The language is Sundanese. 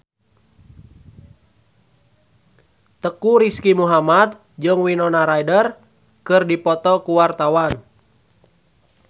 Teuku Rizky Muhammad jeung Winona Ryder keur dipoto ku wartawan